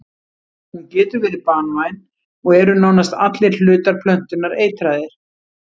Hún getur verið banvæn og eru nánast allir hlutar plöntunnar eitraðir.